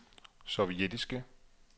sovjetiske